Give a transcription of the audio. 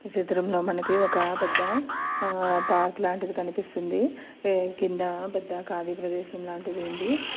ఈ చిత్రంలో మనకి ఒక పెద్ద ఆహ్ పార్క్ లాంటిది కనిపిస్తుంది. ఏ కింద పెద్ద ఖాళీ ప్రదేశంలాంటిది ఉంది.